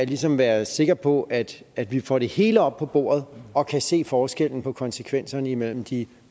ligesom at være sikker på at at vi får det hele op på bordet og kan se forskellen på konsekvenserne imellem de